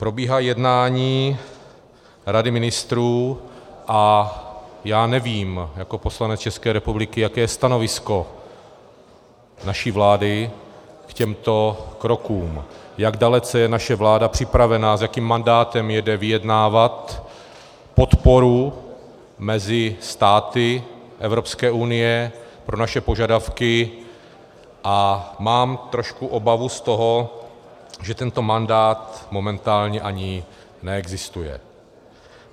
Probíhá jednání Rady ministrů a já nevím jako poslanec České republiky, jaké je stanovisko naší vlády k těmto krokům, jak dalece je naše vláda připravená, s jakým mandátem jede vyjednávat podporu mezi státy Evropské unie pro naše požadavky, a mám trošku obavu z toho, že tento mandát momentálně ani neexistuje.